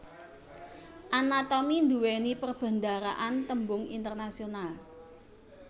Anatomi nduwèni perbendaharaan tembung internasional